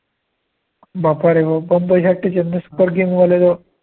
बाप्पारे! मग बंबईसाठी Chennai super king वाले लोक